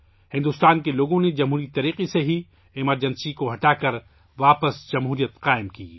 ہندوستان کے عوام نے جمہوری طریقے سے ایمرجنسی ہٹاکر جمہوریت قائم کی